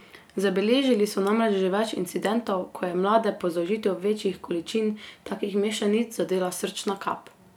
Zabeležili so namreč že več incidentov, ko je mlade po zaužitju večjih količin takih mešanic zadela srčna kap.